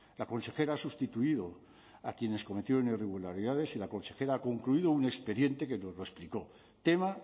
la consejera ha sustituido a quienes cometieron irregularidades y la consejera ha concluido un expediente que nos lo explicó tema